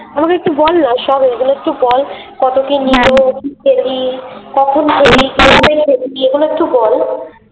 আমাকে একটু বলনা ওই সব ঐগুলো একটু বল কত কি কখন এগুলো একটু বল